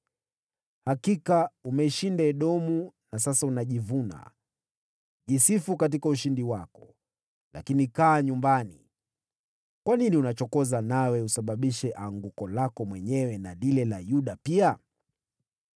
Hakika umeishinda Edomu, na sasa unajivuna. Jisifu katika ushindi wako, lakini kaa nyumbani kwako! Kwa nini unachokoza na kujiletea anguko lako mwenyewe na la Yuda pia?”